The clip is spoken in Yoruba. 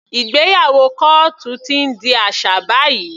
Ìgbéyàwó kọ́ọ́tù ti ń di aṣà báyìí.